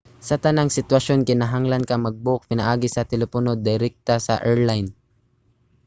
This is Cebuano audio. sa tanang sitwasyon kinahanglan ka mag-book pinaagi sa telepono direkta sa airline